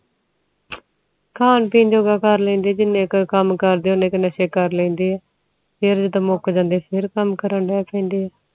ਖਨ ਪਿੰਨ ਜੋਗਾ ਕਰ ਲੈਂਦੇ ਜਿਨ੍ਹਾਂ ਕੇ ਕਾਮ ਕਰ ਲੈਂਦੇ ਓਹਨਾ ਕ ਨਸ਼ਾ ਕਰ ਲੈਂਦੇ ਫੇਰ ਜਦੋ ਮੁਕ ਜਾਂਦੇ ਫੇਰ ਕਾਮ ਕਰਨ ਦੇ ਪੈਂਦੇ ਆ